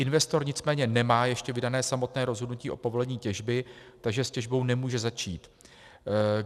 Investor nicméně nemá ještě vydáno samotné rozhodnutí o povolení těžby, takže s těžbou nemůže začít.